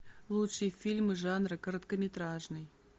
лучшие фильмы жанра короткометражный